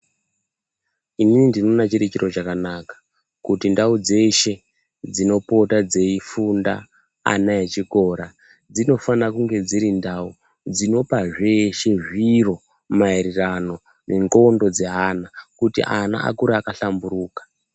Inini ndinoona chiri chiro chakanaka kuti ndau dzeshe dzinopota dzeifunda ana echikora dzinofanakunge dzirindau dzinopa zveshe zviro maererano nenxondo dzeana kuti ana akure akahlamburuka.